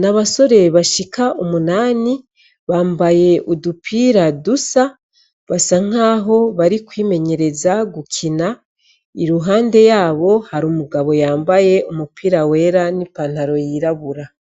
n' abasore bashik' umunani bambay' udupira dusa, basankaho bari kwimenyereza gukina, iruhande yabo har' umugabo yambay' umupira wera n' ipantaro y' irabura.